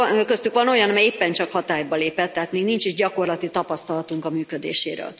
Köztük van olyan, ami éppen csak hatályba lépett, tehát még nincs gyakorlati tapasztalatunk a működéséről.